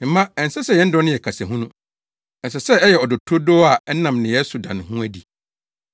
Me mma, ɛnsɛ sɛ yɛn dɔ no yɛ kasa hunu. Ɛsɛ sɛ ɛyɛ ɔdɔ turodoo a ɛnam nneyɛe so da ne ho adi.